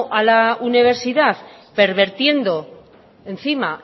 a la universidad pervirtiendo encima